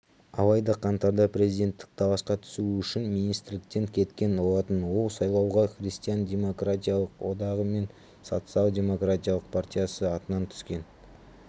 алайда қаңтарда президенттік таласқа түсуі үшін министрліктен кеткен болатын ол сайлауға христиан демократиялық одағы мен социал-демократиялық партиясы атынан түскен